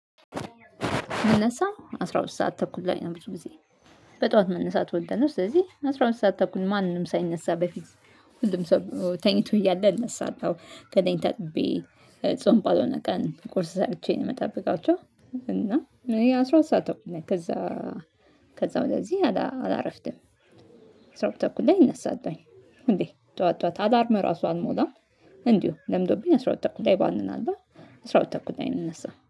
የምነሳው አስራ ሁለት ሰዓት ተኩል ላይ ነው ብዙ ጊዜ በጠዋት መነሳት እወዳለሁ። ስለዚህ አስራ ሁለት ሰዓት ተኩል ማንም ሳይነሳ በፊት ሁሉም ሰው ተኝቶ እያለ እነሳለሁ። ገላየን ታጥቤ ጾም ባልሆነ ቀን ቁርስ ሰርቸ ነው የምጠብቃቸው። እና እኔ አስራ ሁለት ሰዓት ተኩል ነኝ ከዛ ከዛ ወደዚህ አላረፍድም። አስራ ሁለት ተኩል ላይ እነሳለውኝ እንዴ ጠዋት ጠዋት አላርም ራሱ አልሞላም። እንዲሁ ለምዶብኝ አስራ ሁለት ተኩል ላይ ባንናለሁ አስራ ሁለት ተኩል ላይ ነው የምነሳው